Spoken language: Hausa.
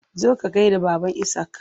Zo ka gaida Baban Ishaq!